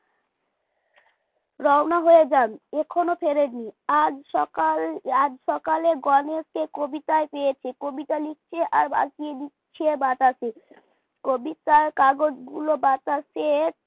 রওনা হয়ে যান এখনো ফেরেননি আজ সকাল আজ সকালে গনেশকে কবিতায় পেয়েছে কবিতা লিখছে আর ভাসিয়ে দিচ্ছে বাতাসে কবিতার কাগজগুলো বাতাসে